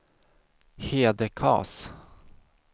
Hedekas